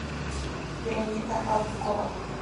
вероника абукова